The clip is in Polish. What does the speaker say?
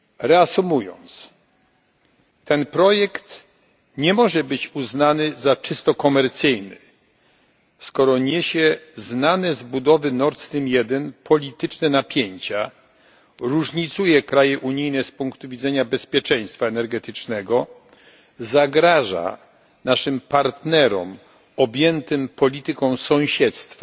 Reasumując, ten projekt nie może być uznany za czysto komercyjny, skoro niesie znane z budowy Nord Stream I polityczne napięcia, różnicuje kraje unijne z punktu widzenia bezpieczeństwa energetycznego, zagraża naszym partnerom objętym polityką sąsiedztwa,